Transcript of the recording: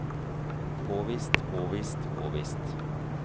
påvist påvist påvist